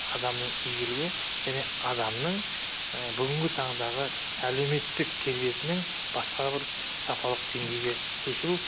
адамның игілігі және адамның бүгінгі таңдағы әлеуметтік келбетінің басқа бір сапалық деңгейге көшіру